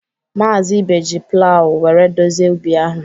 Maazị Ibe ji plawu were dozie ubi ahụ.